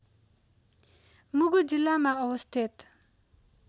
मुगु जिल्लामा अवस्थित